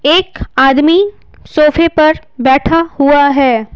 एक आदमी सोफे पर बैठा हुआ है।